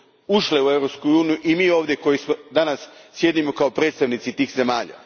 ušle u Europsku uniju i mi koji danas ovdje sjedimo kao predstavnici tih zemalja.